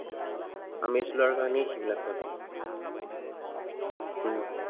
আমেজ লোৱাৰ কাৰনেই সেইবিলাক জাগা।